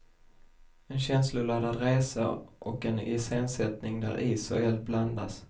En känsloladdad resa och en iscensättning där is och eld blandas.